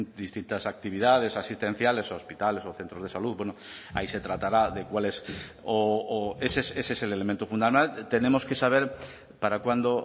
distintas actividades asistenciales u hospitales o centros de salud bueno ahí se tratará de cuáles o ese es el elemento fundamental tenemos que saber para cuándo